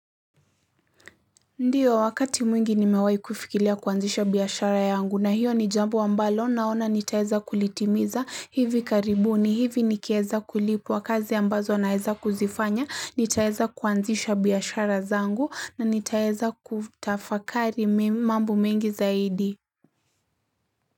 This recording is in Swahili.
Ndiyo, wakati mwingi nimewai kufikilia kuanzisha biashara yangu na hiyo ni jambo mbalo naona nitaeza kulitimiza hivi karibuni, hivi nikieza kulipwa kazi ambazo naeza kuzifanya, nitaeza kuanzisha biashara zangu na nitaeza kutafakari mambo mengi zaidi.